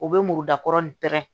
U bɛ muru dakɔrɔnin pɛrɛn